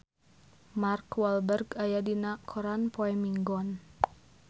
Mark Walberg aya dina koran poe Minggon